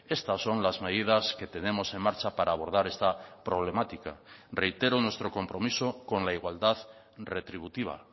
estas son las medidas que tenemos en marcha para abordar esta problemática reitero nuestro compromiso con la igualdad retributiva